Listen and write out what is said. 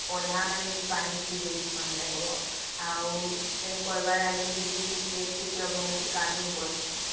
ସିଏ ପଲହ ମାନେ ବି ପାନି ଦେଖ ବ ଆଉ ସେଇ କରିବ ଆଗରୁ ବି ସେ କ୍ଷେତ କୁ ଆଗରୁ ଭଲସେ କାଦୁଅ କରିସନ